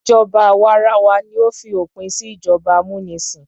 Ìjọba àwa arawa ni ó fi òpin sí ìjọba amúnisìn.